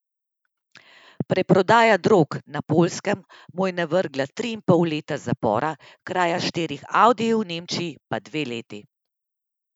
Preprodaja drog na Poljskem mu je navrgla tri in pol leta zapora, kraja štirih audijev v Nemčiji pa dve leti.